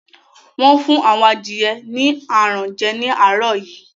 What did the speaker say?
Wọ́n fún àwọn adìẹ ni aràn jẹ ní àárọ̀ yìí